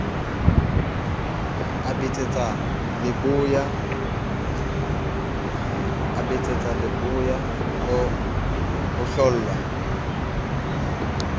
a betsetsa leboya o hlollwa